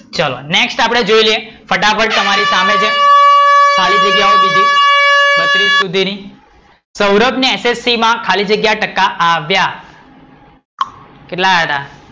ચલો નેક્સટ આપડે જોઈ લઈએ ફટાફટ તમારી સામે છે ખાલી જગ્યા નું કીધું બત્રીસ સુધીની, સૌરભ ને એસએસસી માં ખાલી જગ્યા ટકા આવ્યા? કેટલા આવ્યા હતા?